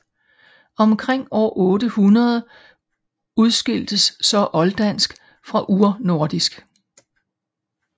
Omkring år 800 udskiltes så olddansk fra urnordisk